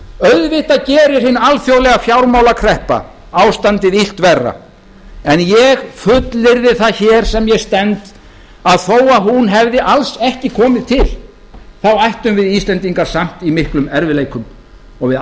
auðvitað gerir hin alþjóðlega fjármálakreppa ástandið illt verra en ég fullyrði það sem ég stend að þó að hún hefði alls ekki komið til ættum við íslendingar samt í miklum erfiðleikum og við